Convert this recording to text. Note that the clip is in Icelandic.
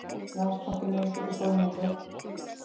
Landsbankinn yfirtekur Sólningu